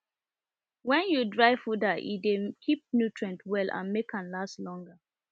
when you dry fooder e dey keep nutient well and make am last longer